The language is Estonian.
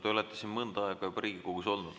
Te olete mõnda aega juba Riigikogus olnud.